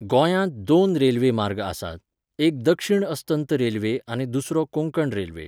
गोंयांत दोन रेल्वे मार्ग आसात, एक दक्षिण अस्तंत रेल्वे आनी दुसरो कोंकण रेल्वे.